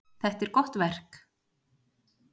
Þetta er gott verk.